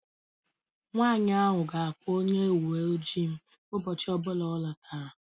Nwanyị ahụ ga-akpọ onye uwe ojii ụbọchị ọ bụla ọ lọtara